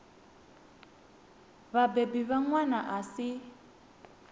vhabebi vha ṅwana a si